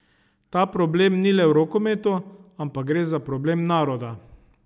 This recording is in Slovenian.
Ta problem ni le v rokometu, ampak gre za problem naroda.